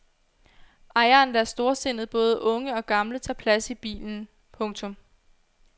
Ejeren lader storsindet både unge og gamle tage plads i bilen. punktum